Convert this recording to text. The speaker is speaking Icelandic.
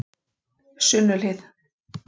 Sunnuhlíð